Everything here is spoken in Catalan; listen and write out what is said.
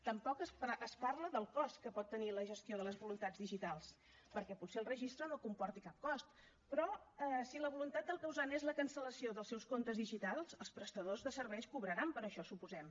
tampoc es parla del cost que pot tenir la gestió de les voluntats digitals perquè potser el registre no comporta cap cost però si la voluntat del causant és la cancel·lació dels seus comptes digitals els prestadors de serveis cobraran per això suposem